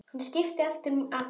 Hann skipti aftur um akrein.